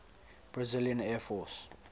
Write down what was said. brazilian air force